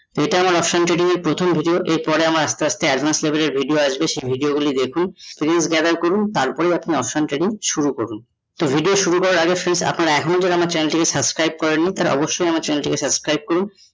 ইটা আমার option trading এর প্রথম video এর পরে আমার আস্তে আস্তে advance level এর video আসবে, সেই video গুলি দেখুন, views gather করুন তার পরে আপনি option trading শুরু করুন । তো video শুরু করার আগে আপনারা এখনো যারা আমার channel টা কে subscribe করেননি তারা অবশ্যই আমার channel টা কে subscribe করুন ।